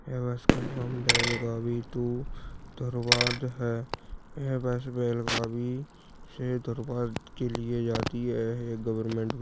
ये बस का नाम बेलगावी टू धारवाड़ है यह बस बेलगावी से धारवाड़ के लिए जाती है ये एक गवर्नमेंट